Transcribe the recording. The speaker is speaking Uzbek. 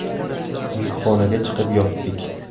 Yukxonaga chiqib yotdik.